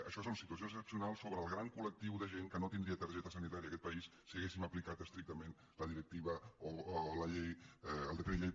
això són situacions excepcionals sobre el gran col·lectiu de gent que no tindria targeta sanitària en aquest país si haguéssim aplicat estrictament la directiva o el decret llei